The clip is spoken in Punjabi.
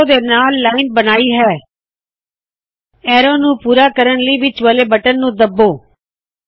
ਯਾਦ ਰੱਖੋ ਲਾਇਨ ਦੇ ਬਣਾਉਨ ਦੀ ਪ੍ਰਕ੍ਰਿਯਾ ਨੂੰ ਖਤਮ ਕਰਣ ਲਈ ਮਾਉਸ ਦਾ ਵਿੱਚ ਵਾਲ਼ਾ ਬਟਨ ਦਬਾਉਣਾ ਜ਼ਰੂਰੀ ਹੈ